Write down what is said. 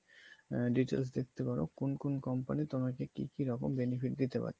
details দেখতে পাবে, কোন কোন company তোমাকে কি কি রকম benefit দিতে পাচ্ছে